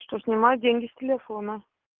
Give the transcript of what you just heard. что снимают деньги с телефона